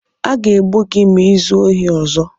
A ga-egbu gị ma i zuo ohi ọzọ!